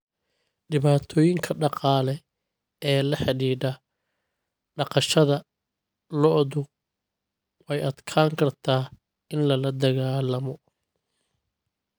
Dhibaatooyinka dhaqaale ee la xidhiidha dhaqashada lo'du way adkaan kartaa in lala dagaallamo.